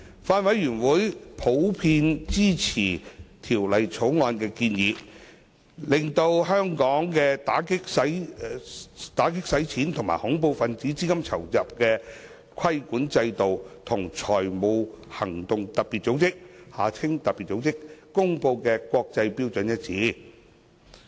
法案委員會普遍支持《條例草案》的建議，令香港的打擊洗錢及恐怖分子資金籌集的規管制度，與財務行動特別組織公布的國際標準一致。